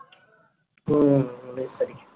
হম উনিশ তারিখ